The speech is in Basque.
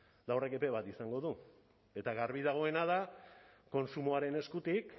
eta horrek epe bat izango du eta garbi dagoena da kontsumoaren eskutik